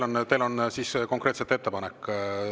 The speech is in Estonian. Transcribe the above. Jah, teil on konkreetselt ettepanek.